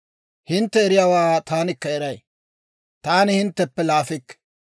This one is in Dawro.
Hintte eriyaawaa taanikka eray; taani hintteppe laafikke.